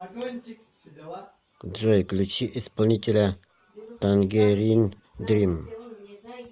джой включи исполнителя тангерин дрим